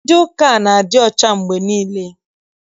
Ndị ụka a na-adị ọcha mgbe niile.